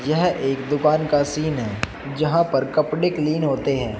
यह एक दुकान का सीन है जहां पर कपड़े क्लीन होते है।